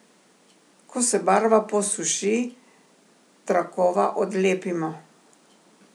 Ko se barva posuši, trakova odlepimo.